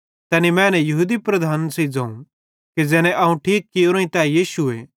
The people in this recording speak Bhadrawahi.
तैने मैने यहूदी लीडरन सेइं ज़ोवं कि ज़ैने अवं ठीक कियोरोईं तै यीशुए